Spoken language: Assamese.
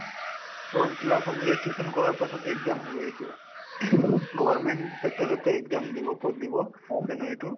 form fill up হব registration কৰাৰ পাছত exam হবয়ে এইটোও government sector তে exam দিব code দিব এইটো